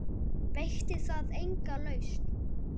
Veitti það enga lausn?